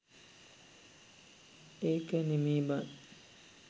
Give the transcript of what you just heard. ඒක නෙමේ බන්